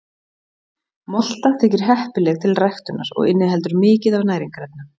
Molta þykir heppileg til ræktunar og inniheldur mikið af næringarefnum.